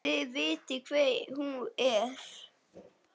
Þið vitið hver hún er!